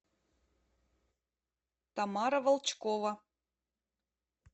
тамара волчкова